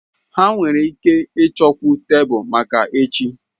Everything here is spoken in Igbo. Ha nwere ike ịchọkwu tebụl maka echi.